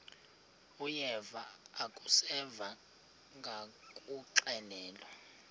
uyeva akuseva ngakuxelelwa